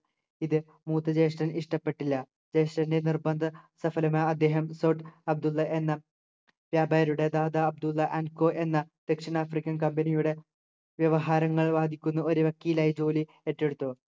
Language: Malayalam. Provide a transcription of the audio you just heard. ഇത് മൂത്ത ജ്യേഷ്ഠന് ഇഷ്ടപ്പെട്ടില്ല ജ്യേഷ്ഠൻ്റെ നിർബന്ധ സഫലമാ അദ്ദേഹം സേട്ട് അബ്ദുള്ള എന്ന വ്യാപാരിയുടെ ദാദ അബ്ദുള്ള and co എന്ന ദക്ഷിണ african company യുടെ വ്യവഹാരങ്ങൾ വാദിക്കുന്ന ഒരു വക്കീലായി ജോലി ഏറ്റെടുത്തു